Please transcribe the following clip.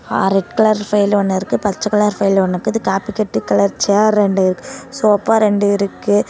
ஆ red colour file ஒன்னு இருக்கு பச்சை கலர் ஃபைல் ஒன்னு இருக்குது காப்பிக்கட்டு கலர் சேர் ரெண்டு சோஃபா ரெண்டு இருக்கு.